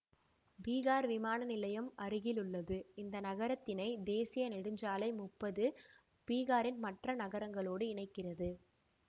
பீகார் விமானநிலையம் அருகிலுள்ளது இந்த நகரத்தினை தேசிய நெடுஞ்சாலை முப்பது பீகாரின் மற்ற நகரங்களோடு இணைக்கிறது